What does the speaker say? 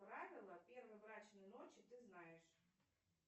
правила первой брачной ночи ты знаешь